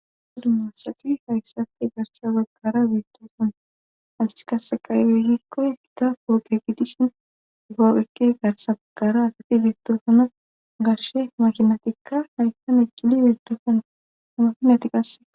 Dumma dumma asati hayssati garsa baggara biittosona as kasaqaybe hikkoy hita poode giddishin ufapheke garsa baggara asatti biittoosona garshe makinatikka haysan eqqili beettoosona amakinatiqas